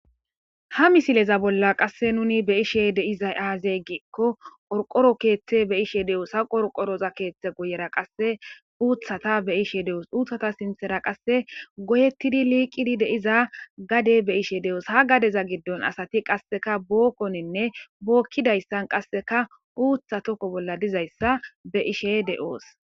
ha misileza bolla qasse nuni be ishe deiza aazeygikko qorqoro keeththe be ishe de7oos ha qorqoroza keeththe guyera qasse uuthata be ishe de7oos uuthata sinthera qasse goyettidi liiqidi deiza gade be ishe de7oos ha gadeza giddon asati qasseka bookkoninne bookkidayssan qasseka uutha tokko bolla dizayssa be ishe de7oos